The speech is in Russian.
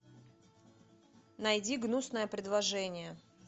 найди гнусное предложение